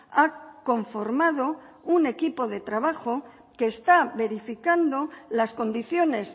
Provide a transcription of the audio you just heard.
ha conformado un equipo de trabajo que está verificando las condiciones